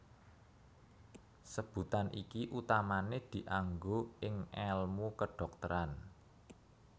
Sebutan iki utamané dianggo ing èlmu kedhokteran